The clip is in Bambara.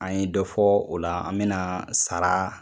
An ye dɔ fɔ o la. An bɛna sara